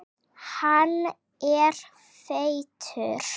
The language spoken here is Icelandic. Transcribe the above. Hann er feitur.